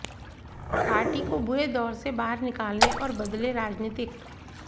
party को बुरे दौरे से बाहर निकालने और बदले राजनीतिक